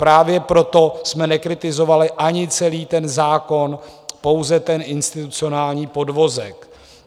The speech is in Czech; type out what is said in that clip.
Právě proto jsme nekritizovali ani celý ten zákon, pouze ten institucionální podvozek.